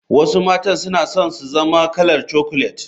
Wasu matan suna son su zama kalar chocolet.